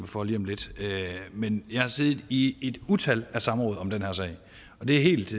for lige om lidt men jeg har siddet i et utal af samråd om den her sag og det er helt